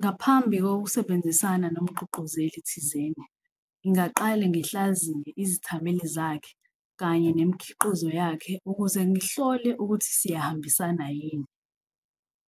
Ngaphambi kokusebenzisana nomgqugquzeli thizeni ngingaqale ngihlaziya izithameli zakhe kanye nemikhiqizo yakhe, ukuze ngihlole ukuthi siyahambisana yini.